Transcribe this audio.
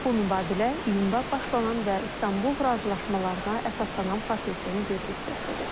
Bu mübadilə iyunda başlanan və İstanbul razılaşmalarına əsaslanan prosesin bir hissəsidir.